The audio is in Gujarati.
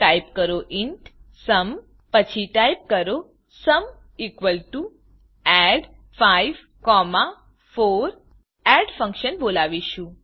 ટાઈપ કરો ઇન્ટ સુમ પછી ટાઈપ કરો સુમ add54 000405 000404 એડ એડફંક્શનને બોલાવીશું